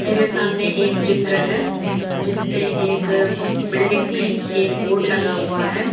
मेरे सामने एक चित्र है जिस पे एक बिल्डिंग में एक बोर्ड लगा हुआ है।